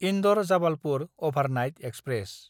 इन्दर–जाबालपुर overnight express